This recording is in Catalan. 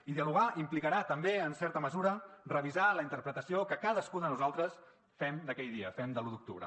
i dialogar implicarà també en certa mesura revisar la interpretació que cadascú de nosaltres fem d’aquell dia fem de l’u d’octubre